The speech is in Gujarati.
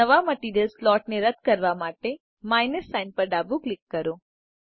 નવા માટરીઅલ સ્લોટ ને રદ કરવા માટેminus સાઇન પર ડાબું ક્લિક કરો